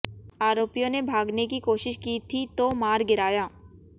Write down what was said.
आरोपियों ने भागने की कोशिश की थी तो मार गिराया